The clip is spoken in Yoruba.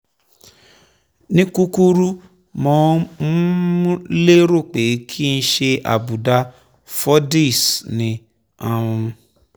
ní kúkúrú: mo um lérò pé kìí ṣe àbùdá fordyce ni um